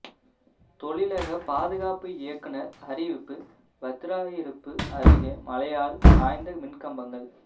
தொழிலக பாதுகாப்பு இயக்குநர் அறிவிப்பு வத்திராயிருப்பு அருகே மழையால் சாய்ந்த மின்கம்பங்கள்